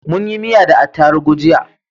Munyi miya da atarubu jiya